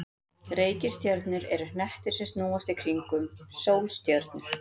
Reikistjörnur eru hnettir sem snúast í kringum sólstjörnur.